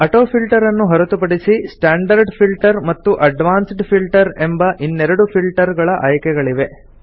AutoFilter ನ್ನು ಹೊರತುಪಡಿಸಿ standard filter ಮತ್ತು ಅಡ್ವಾನ್ಸ್ಡ್ ಫಿಲ್ಟರ್ ಎಂಬ ಇನ್ನೆರಡು ಫಿಲ್ಟರ್ ಗಳ ಆಯ್ಕೆಗಳಿವೆ